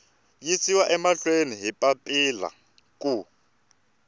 yisiwa mahlweni hi papila ku